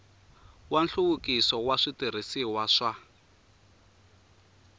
wa nhluvukiso wa switirhisiwa swa